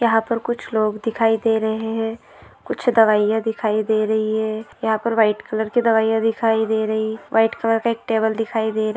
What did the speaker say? यहाँ पर कुछ लोग दिखाई दे रहे है कुछ दवाईया दिखाई दे रही है यहाँ पर व्हाइट कलर की दवाईया दिखाई दे रही व्हाइट कलर का एक टेबल दिखाई दे र--